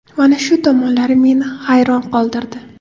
Mana shu tomonlari meni hayron qoldirdi.